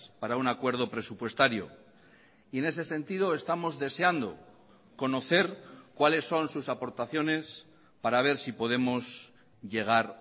para un acuerdo presupuestario y en ese sentido estamos deseando conocer cuáles son sus aportaciones para ver si podemos llegar